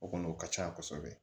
O kɔni o ka ca kosɛbɛ